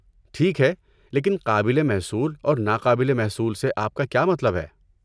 ٹھیک ہے، لیکن 'قابل محصول' اور 'ناقابل محصول' سے آپ کا کیا مطلب ہے؟